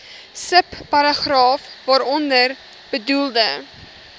subparagraaf waaronder bedoelde